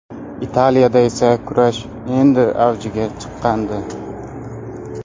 Italiyada esa kurash endi avjiga chiqqandi.